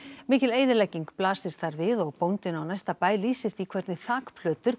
mikil eyðilegging blasir þar við og bóndinn á næsta bæ lýsir því hvernig